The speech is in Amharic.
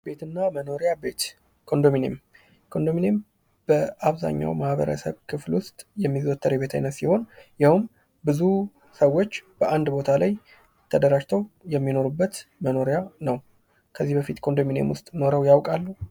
ቤት እና መኖሪያ ቤት ኮንዶምኒየም ኮንዶሚኒየም በአብዛኛው ማህበረሰብ ክፍል ውስጥ የሚዞተር የቤት አይነት ሲሆን ይኸም ብዙ ሰዎች በአንድ ቦታ ላይ ተደራጅተው የሚኖሩበት መኖሪያ ነው። ከዚህ በፊት ኮንዶሚኒየም ውስጥ ኖረው ያውቃሉ?